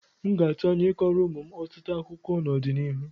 M ga-atụ anya I kọọrọ ụmụ m ọtụtụ akụkọ n'ọdịnihu.